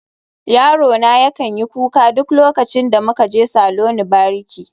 Yarona yakan yi kuka duk lokacin da muka je saloni bariki